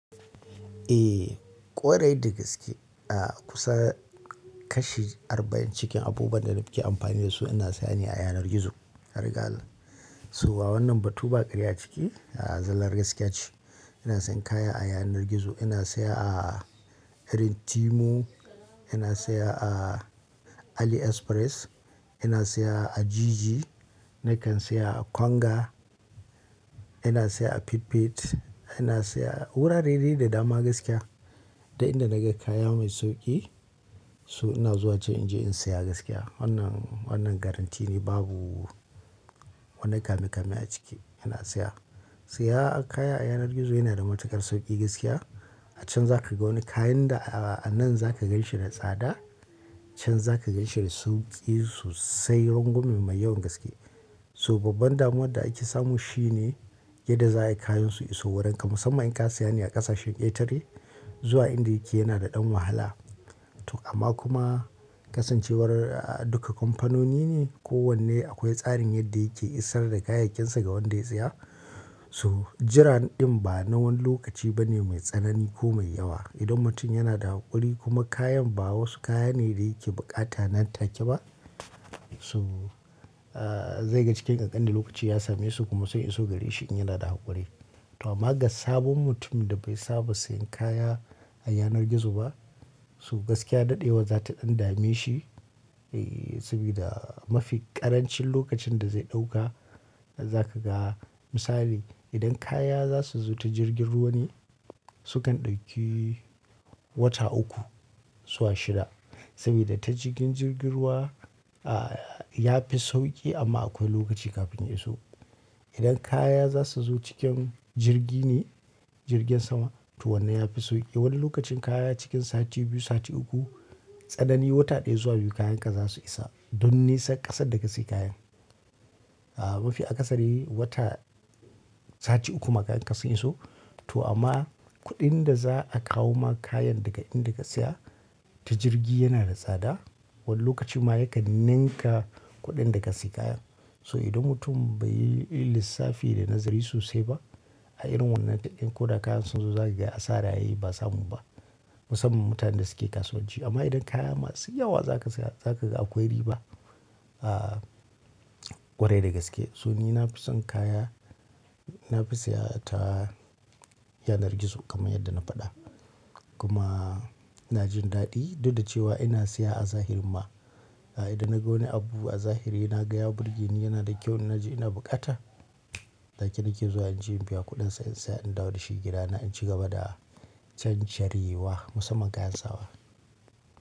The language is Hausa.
Eh ƙwarai da gaske. A kusa kashi arba'in cikin abubuwan da nake amfani da su ina saya ne a yanar gizo. Har ga Allah. So a wannan batu ba karya ciki, a zallar gaskiya ce. Ina sayan kaya a yanar gizo, ina saya a Irin Timu, ina saya a Ali Express, ina saya a Jiji, nakan saya a Kwanga, ina saya a Pipit, ina saya a wurare dai da dama gaskiya. Duk inda naga kaya mai sauki so ina zuwa can inje in saya gaskiya. Wannan, wannan garantti ne babu wani kame-kame a ciki ina saya. Siya kaya a yanar gizo yana da matuƙar sauƙi gaskiya. A can za ka ga wani kayan da a a nan za ka ganshi da tsada, can za ka ganshi da sauƙi sosai, rangwame mai yawan gaskiya. So babban damuwar da ake samu shi ne yadda za ayi kayan su iso wurinka. Musamman in ka saya ne a ƙasashen ƙetare, zuwa inda yake yana da ɗan wahala. To amma kuma kasancewar duka kamfanoni ne kowanne akwai tsarin yadda yake isar da kayayyakinsa ga wanda ya saya. To jiran ɗin ba na wani lokaci ba ne mai tsanani ko mai yawa. Idan mutum yana da haƙuri kuma kayan ba wasu kaya ne da yake bukata nan take ba so a zai ga cikin kankanin lokaci ya same su kuma sun iso gare shi in yana da haƙuri. To amma ga sabon mutumin da bai saba sayan kaya a yanar gizo ba so gaskiya daɗewan za ta ɗan dame shi. Eh, sabida mafi ƙarancin lokacin da zai ɗauka zaka ga. Misali idan kaya za su zo ta jirgin ruwa ne sukan ɗauki wata uku zuwa shida. Sabida ta cikin jirgin ruwa a ya fi sauƙi amma akwai lokaci kafin ya iso. Idan kaya za su zo cikin jirgi ne jirgin sama to wannan ya fi sauƙi. Wani lokacin kaya cikin sati biyu, sati uku, tsanani wata ɗaya zuwa biyu kayanka za su isa. Dun nisar ƙasar da ka sayi kayan. A mafi akasari wata sati uku ma kayanka su iso. To amma kuɗin da za a kawo ma kayan daga inda ka saya ta jirgi yana da tsada. Wani lokaci ma yakan ninka kuɗin da ka sayi kayan. So idan mutum bai yi lissafi da nazari sosai ba a irin wannan deal din ko da kayan sun zo zasu zaka gai asara yayi ba samu ba. Musamman mutanen da suke kasuwanci. Amma idan kaya masu yawa za ka saya za ka ga akwai riba. A ƙwarai da gaske. So ni na fi son kaya, na fi saya ta yanar gizo kamar yadda na faɗa. Kuma ina jin daɗi, duk da cewa ina saya a zahiri ma. A idan na ga wani abu a zahiri na ga ya burge ni yana da kyau in na ji ina bukata, take nake zuwa inje in biya kuɗin sa in saya in dawo da shi gidana in ci gaba da cancarewa musamman kayan sawa.